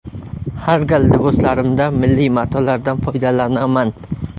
Har gal liboslarimda milliy matolardan foydalanaman.